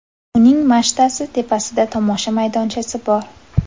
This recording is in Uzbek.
Uning machtasi tepasida tomosha maydonchasi bor.